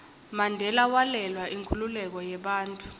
mandela walwela inkhululeko yebantfu